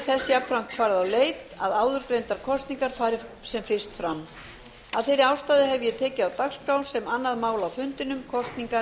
þess jafnframt farið á leit að áður greindar kosningar fari sem fyrst fram af þeirri ástæðu hef ég tekið á dagskrá sem annað mál á fundinum kosningar